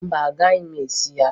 Mba, agaghị m esi ji taa